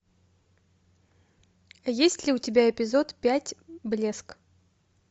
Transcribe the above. есть ли у тебя эпизод пять блеск